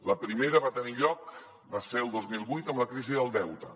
la primera va tenir lloc el dos mil vuit amb la crisi del deute